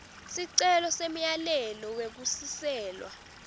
sicelo semyalelo wekusiselwa